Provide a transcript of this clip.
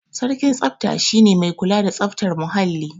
Sarkin tsafta shi ne mai kula da tsaftar muhalli.